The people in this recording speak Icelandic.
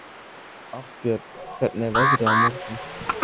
Arnbjörn, hvernig er veðrið á morgun?